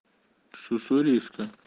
с уссурийска